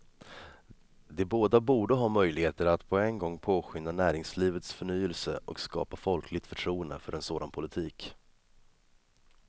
De båda borde ha möjligheter att på en gång påskynda näringslivets förnyelse och skapa folkligt förtroende för en sådan politik.